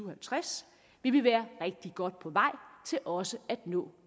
og halvtreds vil vi være rigtig godt på vej til også at nå